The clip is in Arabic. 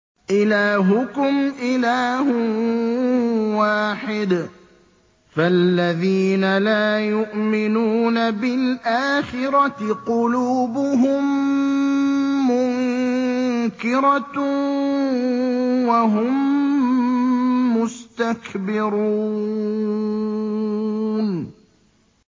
إِلَٰهُكُمْ إِلَٰهٌ وَاحِدٌ ۚ فَالَّذِينَ لَا يُؤْمِنُونَ بِالْآخِرَةِ قُلُوبُهُم مُّنكِرَةٌ وَهُم مُّسْتَكْبِرُونَ